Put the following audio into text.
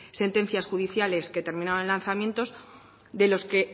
sentencias judiciales que terminaban en lanzamientos